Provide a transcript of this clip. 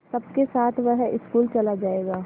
सबके साथ वह स्कूल चला जायेगा